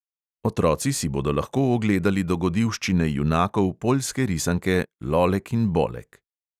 Otroci si bodo lahko ogledali dogodivščine junakov poljske risanke lolek in bolek.